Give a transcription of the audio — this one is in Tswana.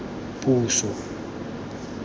puso